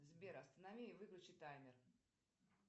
сбер останови и выключи таймер